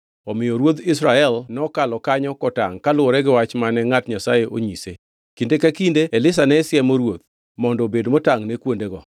Omiyo ruodh Israel nokalo kanyo kotangʼ kaluwore gi wach mane ngʼat Nyasaye onyise. Kinde ka kinde Elisha ne siemo ruoth, mondo obed motangʼ ne kuondego.